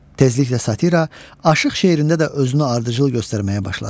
Tezliklə satira aşıq şeirində də özünü ardıcıl göstərməyə başladı.